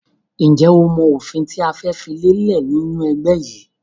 Ǹjẹ́ o mọ òfin tí a fẹ́ fi lélẹ̀ ni inu ẹgbẹ́ yìí?